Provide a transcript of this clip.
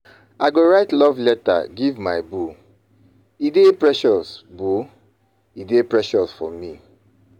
I go write love letter give my boo,e dey precious e dey precious for me.